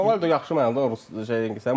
Ronaldo yaxşı mənada şeydir.